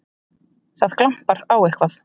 Það glampar á eitthvað!